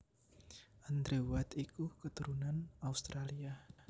Andrew White iku katurunan Australia